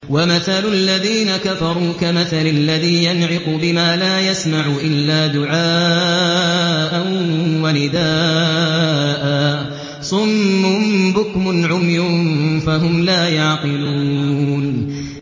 وَمَثَلُ الَّذِينَ كَفَرُوا كَمَثَلِ الَّذِي يَنْعِقُ بِمَا لَا يَسْمَعُ إِلَّا دُعَاءً وَنِدَاءً ۚ صُمٌّ بُكْمٌ عُمْيٌ فَهُمْ لَا يَعْقِلُونَ